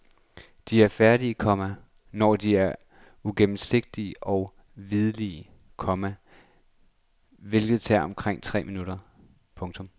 De er færdige, komma når de er uigennemsigtige og hvidlige, komma hvilket tager omkring tre minutter. punktum